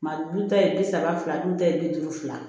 Ma du ta ye bi saba fila dun ta ye bi duuru fila